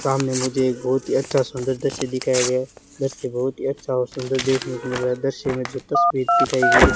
सामने मुझे एक बहुत ही अच्छा सुंदर दृश्य दिखाया गया है दृश्य बहुत ही अच्छा और सुंदर देखने को मिल रहा दृश्य में जो तस्वीर दिखाई गई है।